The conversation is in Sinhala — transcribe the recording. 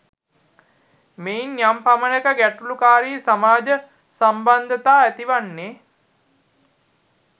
මෙයින් යම් පමණක ගැටලුකාරි සමාජ සම්බන්ධතා ඇතිවන්නේ